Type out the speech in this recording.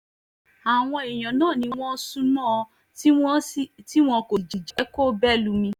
àwọn èèyàn náà ni wọ́n sún mọ́ ọn tí wọn kò sì jẹ́ kó bẹ́ lùmí